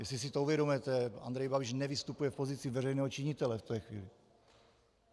Jestli si to uvědomujete, Andrej Babiš nevystupuje v pozici veřejného činitele v té chvíli.